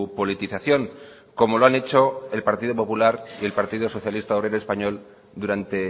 politización como lo han hecho el partido popular y el partido socialista obrero español durante